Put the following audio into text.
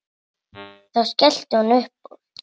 Þá skellti hún upp úr.